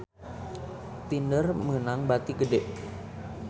Tinder meunang bati gede